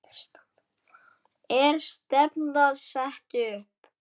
Er stefnan sett upp?